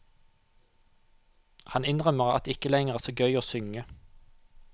Han innrømmer at det ikke lenger er så gøy å synge.